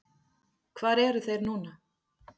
Hvar eru þeir núna?